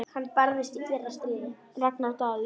Ragnar Daði.